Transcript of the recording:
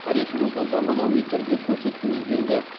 тарихымызды заманауи түрде көрсеткіміз келді